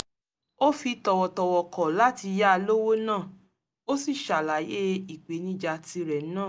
ó fi tọ̀wọ̀tọ̀wọ̀ kọ̀ láti ya lówó náà ó sì ṣàlàyé ìpènijà tirè náà